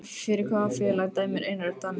Fyrir hvaða félag dæmir Einar Örn Daníelsson?